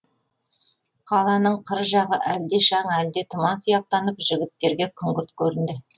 қаланың қыр жағы әлде шаң әлде тұман сияқтанып жігіттерге күңгірт көрінді